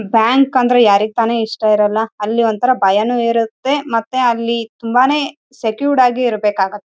Fan ಇದೆ ಇಲ್ಲಿ ಎಲ್ಲಾ ವಿದ್ಯುತ್ ಬಲ್ಪ್ ಗಳು ಇದೆ.